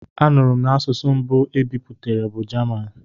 A nụrụ m n'asụsụ mbụ e bipụtara bụ Jaman.